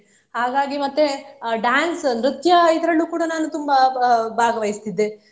ಹಾಗಾಗಿ ಮತ್ತೆ ಅಹ್ dance ನೃತ್ಯ ಇದರಲ್ಲೂ ಕೂಡಾ ನಾನು ತುಂಬಾ ಅಹ್ ಭಾ~ ಭಾಗವಿಸುತ್ತಿದ್ದೆ.